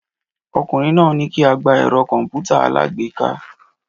Ọkùnrin náà ní kí á gba ẹ̀rọ kọ̀m̀pútà alágbèéká